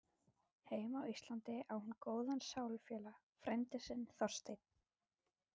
Heima á Íslandi á hún góðan sálufélaga, frænda sinn Þorstein